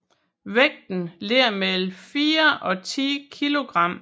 Vægten ligger på mellem 4 og 10 kilogram